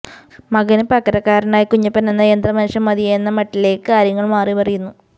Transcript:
മകന് പകരക്കാരനായി കുഞ്ഞപ്പനെന്ന യന്ത്ര മനുഷ്യൻ മതിയെന്ന മട്ടിലേക്ക് കാര്യങ്ങൾ മാറി മറയുന്നു